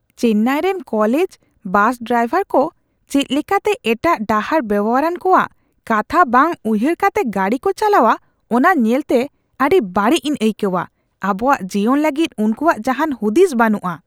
ᱪᱮᱱᱱᱟᱭ ᱨᱮᱱ college bus driver ᱠᱚ ᱪᱮᱫ ᱞᱮᱠᱟᱛᱮ ᱮᱴᱟᱜ ᱰᱟᱦᱟᱨ ᱵᱮᱣᱦᱟᱨᱟᱱ ᱠᱚᱣᱟᱜ ᱠᱟᱛᱷᱟ ᱵᱟᱝ ᱩᱭᱦᱟᱹᱨ ᱠᱟᱛᱮ ᱜᱟᱹᱰᱤ ᱠᱚ ᱪᱟᱞᱟᱣᱟ ᱚᱱᱟ ᱧᱮᱞᱛᱮ ᱟᱹᱰᱤ ᱵᱟᱹᱲᱤᱡ ᱤᱧ ᱟᱹᱭᱠᱟᱹᱜᱼᱟ ᱾ ᱟᱵᱚᱣᱟᱜ ᱡᱤᱭᱚᱱ ᱞᱟᱹᱜᱤᱫ ᱩᱱᱠᱩᱣᱟᱜ ᱡᱟᱦᱟᱱ ᱦᱩᱫᱤᱥ ᱵᱟᱹᱱᱩᱜᱼᱟ ᱾